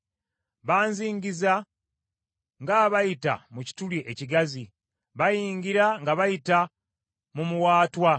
Banzingiza ng’abayita mu kituli ekigazi, bayingira nga bayita mu muwaatwa.